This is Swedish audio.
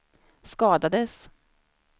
skadades